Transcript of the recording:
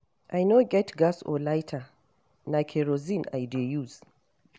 I no get gas or lighter na kerosene I dey use